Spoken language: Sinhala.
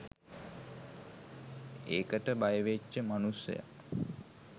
ඒකට බයවෙච්ච මනුස්සය